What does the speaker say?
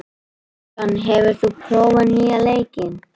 John, hefur þú prófað nýja leikinn?